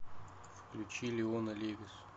включи леона левис